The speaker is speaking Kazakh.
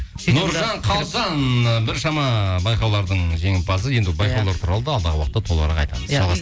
нұржан қалжан і біршама байқаулардың жеңімпазы енді байқаулар туралы да алдағы уақыта толығырақ айтамыз